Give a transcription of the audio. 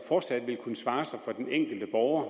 fortsat vil kunne svare sig for den enkelte borger